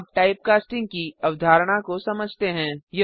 हम अब टाइपकास्टिंग की अवधारणा को समझते हैं